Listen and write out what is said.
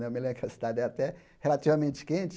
Eu me lem que a cidade é até relativamente quente.